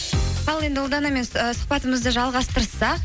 ал енді ұлданамен ііі сұхбатымызды жалғастырсақ